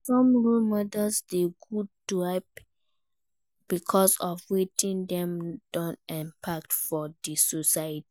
Some role models de good to hype because of wetin dem don impact for di society